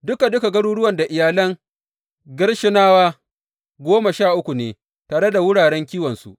Duka duka, garuruwan iyalan Gershonawa goma sha uku ne, tare da wuraren kiwonsu.